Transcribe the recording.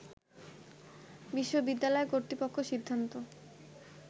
বিশ্ববিদ্যালয় কর্তৃপক্ষ সিদ্ধান্ত